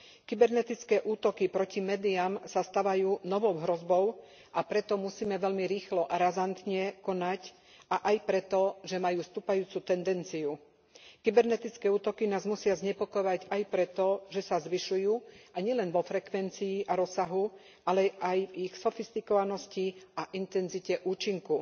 Kybernetické útoky proti médiám sa stavajú novou hrozbou, a preto musíme veľmi rýchlo, razantne konať a aj preto, že majú stúpajúcu tendenciu. Kybernetické útoky nás musia znepokojovať aj preto, že sa zvyšujú, a nielen vo frekvencii a v rozsahu, ale aj v ich sofistikovanosti a intenzite účinku.